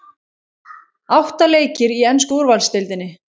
Átta leikir í ensku úrvalsdeildinni